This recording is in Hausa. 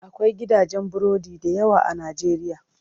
Akwai gidajen burodi dayawa a najeriya.